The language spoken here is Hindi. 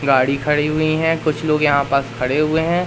गाड़ी खड़ी हुई है कुछ लोग यहां पास खड़े हुए हैं।